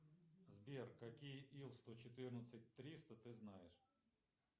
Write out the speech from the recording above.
сбер какие ил сто четырнадцать триста ты знаешь